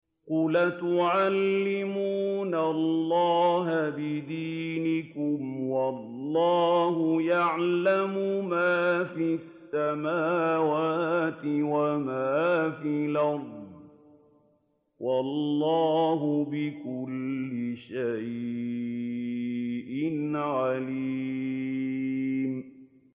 قُلْ أَتُعَلِّمُونَ اللَّهَ بِدِينِكُمْ وَاللَّهُ يَعْلَمُ مَا فِي السَّمَاوَاتِ وَمَا فِي الْأَرْضِ ۚ وَاللَّهُ بِكُلِّ شَيْءٍ عَلِيمٌ